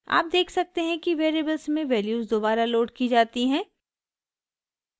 आप देख सकते हैं कि वेरिएबल्स में वैल्यूज़ दोबारा लोड की जाती हैं